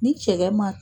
Ni cɛkɛ ma